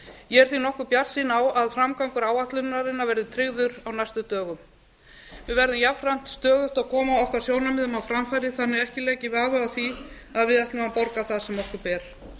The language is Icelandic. ég er því nokkuð bjartsýn á að framgangur áætlunarinnar verði tryggður á næstu dögum við verðum jafnframt stöðugt að koma okkar sjónarmiðum á framfæri þannig að ekki leiki vafi á því að við ætlum að borga það sem okkur ber